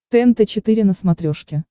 тнт четыре на смотрешке